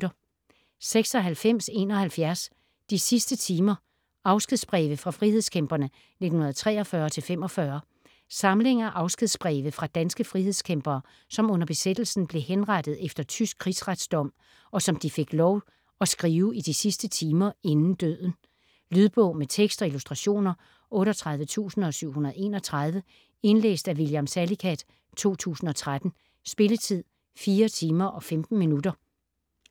96.71 De sidste timer: afskedsbreve fra frihedskæmperne 1943-1945 Samling af afskedsbreve fra danske frihedskæmpere, som under besættelsen blev henrettet efter tysk krigsretsdom, og som de fik lov at skrive i de sidste timer inden døden. Lydbog med tekst og illustrationer 38731 Indlæst af William Salicath, 2013. Spilletid: 4 timer, 15 minutter.